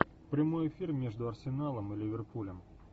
прямой эфир между арсеналом и ливерпулем